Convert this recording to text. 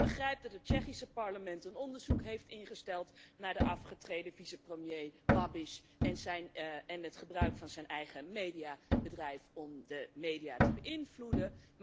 Ik begrijp dat het Tsjechische parlement een onderzoek heeft ingesteld naar de afgetreden vice premier Babiš en het gebruik van zijn eigen mediabedrijf om de media te beïnvloeden.